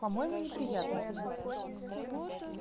по-моему неприятности